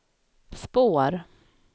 spår